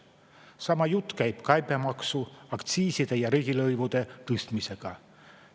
Sama jutt käib käibemaksu, aktsiiside ja riigilõivude tõstmise kohta.